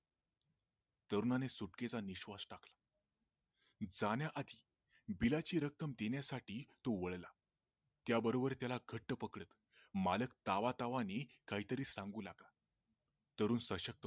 तरुणाने सुटकेचा निश्वास टाकला की जाण्या आधी बिलाची रक्कम देण्यासाठी तो वळला त्या बरोबर त्याला घट्ट पकडत मालक तावातावाने काहीतरी सांगू लागला